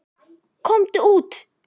Komdu út!